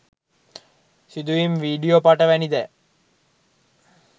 සිදුවීම් වීඩියෝ පට වැනි දෑ